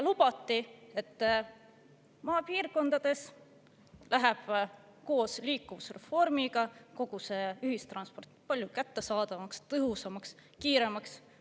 Lubati, et maapiirkondades liikuvusreformi kogu ühistransport palju kättesaadavamaks, tõhusamaks ja kiiremaks.